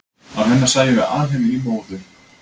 án hennar sæjum við alheiminn í móðu